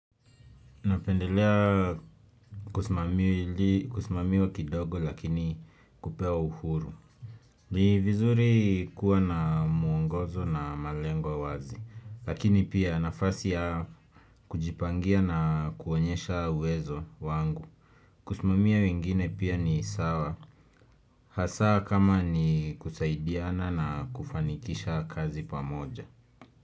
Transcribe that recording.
Napendelea kusimamiwa kidogo lakini kupewa uhuru. Ni vizuri kuwa na mwongozo na malengo wazi. Lakini pia nafasi ya kujipangia na kuonyesha uwezo wangu. Kusimamia wengine pia ni sawa. Hasa kama ni kusaidiana na kufanikisha kazi pamoja.